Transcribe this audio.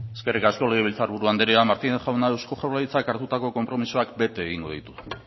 eskerrik asko legebiltzarburu andrea martínez jauna eusko jaurlaritzak hartutako konpromisoak bete egingo ditu